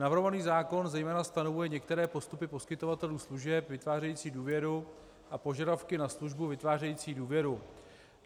Navrhovaný zákon zejména stanovuje některé postupy poskytovatelů služeb vytvářejících důvěru a požadavky na službu vytvářející důvěru.